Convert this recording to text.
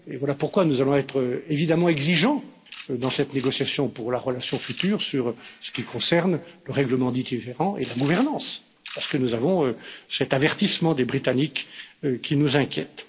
Voilà pourquoi nous allons être évidemment exigeants, dans cette négociation pour la relation future, sur ce qui concerne le règlement des différends et la gouvernance, parce que nous avons cet avertissement des Britanniques qui nous inquiète.